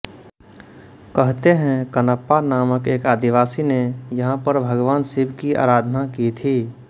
कहते हैं कणप्पा नामक एक आदिवासी ने यहाँ पर भगवान शिव की आराधना की थी